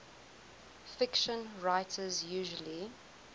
fiction writers usually